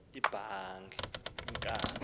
inkanga